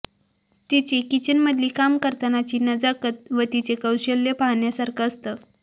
तिची किचनमधली काम करतानाची नजाकत व तिचं कौशल्य पाहण्यासारखं असतं